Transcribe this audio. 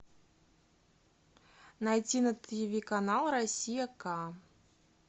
найти на ти ви канал россия ка